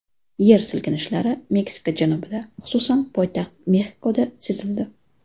Yer silkinishlari Meksika janubida, xususan, poytaxt Mexikoda sezildi.